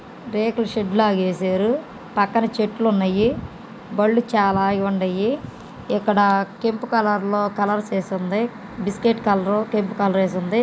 రేకుల షెడ్ లాగేశారు పక్కన చెట్లు ఉన్నాయి బళ్ళు చాలా ఆగి ఉన్నాయి ఇక్కడ కెంపు కలర్ లో కలర్స్ ఏసీ ఉంది బిస్కెట్ కలర్ కెంపు కలర్ ఏసి ఉంది.